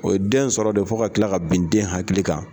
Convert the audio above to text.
O ye den sɔrɔ de fo ka kila ka bin den hakili kan.